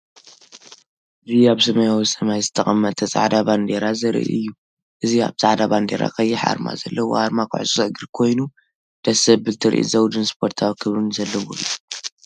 እዚ ኣብ ሰማያዊ ሰማይ ዝተቐመጠ ጻዕዳ ባንዴራ ዘርኢ እዩ። እዚ ኣብ ጻዕዳ ባንዴራ ቀይሕ ኣርማ ዘለዎ ኣርማ ክለብ ኩዕሶ እግሪ ኮይኑ፡ ደስ ዘብል ትርኢት፡ ዘውድን ስፖርታዊ ክብርን ዘለዎ እዩ።